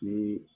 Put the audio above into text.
Ni